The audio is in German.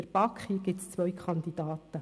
der BaK. Hier gibt es zwei Kandidaten.